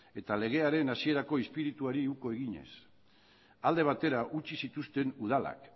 eta legearen hasierako izpirituari uko eginez alde batera utzi zituzten udalak